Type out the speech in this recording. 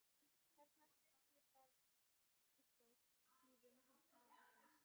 Þarna siglir barn í skóhlífum afa síns.